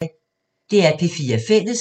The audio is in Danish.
DR P4 Fælles